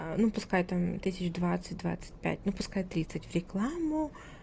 ну пускай там тысяч двадцать двадцать пять ну пускай тридцать в рекламу